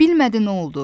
Bilmədi nə oldu.